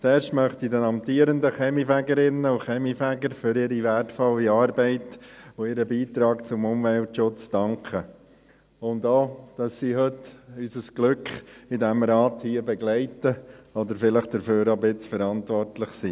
Zuerst möchte ich den amtierenden Kaminfegerinnen und Kaminfegern für ihre wertvolle Arbeit und ihren Beitrag zum Umweltschutz danken, und auch dafür, dass sie heute unser Glück hier in diesem Rat begleiten oder vielleicht auch ein bisschen dafür verantwortlich sind.